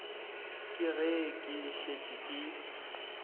ke ge ke šetše ke